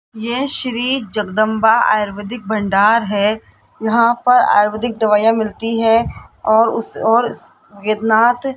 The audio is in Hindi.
यह श्री जगदंबा आयुर्वैदिक भंडार है यहां पर आयुर्वेदिक दवाईयां मिलती है और उस और स --